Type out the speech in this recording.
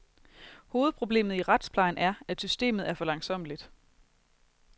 Hovedproblemet i retsplejen er, at systemet er for langsommeligt.